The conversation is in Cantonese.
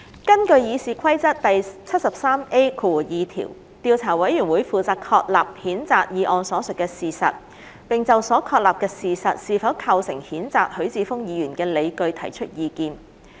根據《議事規則》第 73A2 條，調查委員會負責確立譴責議案所述的事實，並就所確立的事實是否構成譴責許智峯議員的理據提出意見。